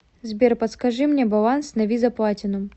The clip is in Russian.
сбер подскажи мне баланс на виза платинум